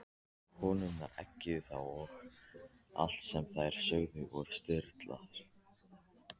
Konurnar eggjuðu þá og allt sem þær sögðu var stuðlað.